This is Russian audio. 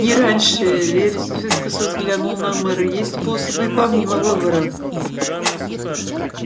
не раньше вересов искоса взглянул на мэра есть способы и помимо выборов